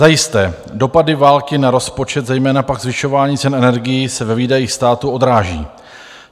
Zajisté, dopady války na rozpočet, zejména pak zvyšování cen energií, se ve výdajích státu odráží.